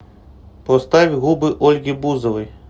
поставь губы ольги бузовой